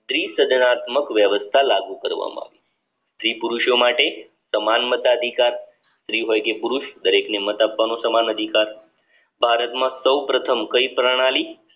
પ્રીત જનનાત્મક વ્યવસ્થા લાગુ કરવામાં સ્ત્રી પુરુષો માટે તમામ મતાધિકાર ફ્રી હોય કે પુરુષ દરેકને મત આપવાનો સમાન અધિકાર ભારતમાં સૌપ્રથમ કઈ પ્રણાલી સ્ત્રી સજનાત્મક